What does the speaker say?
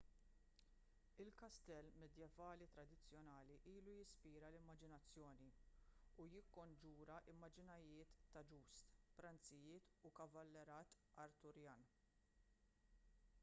il-kastell medjevali tradizzjonali ilu jispira l-immaġinazzjoni u jikkonġura immaġnijiet ta' jousts pranzijiet u l-kavallerat arturjan